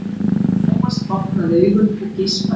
Thomas opnaði augun og geispaði.